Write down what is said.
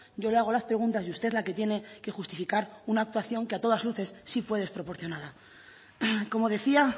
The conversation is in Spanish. yo le hago las preguntas y usted la que tiene que justificar una actuación que a todas luces sí fue desproporcionada como decía